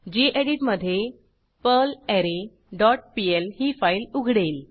गेडीत मधे perlre dot PL ही file उघडेल